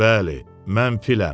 Bəli, mən filəm.